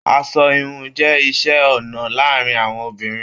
Aṣọ ìhun jẹ iṣẹ ọnà láàrín àwọn obìnrin.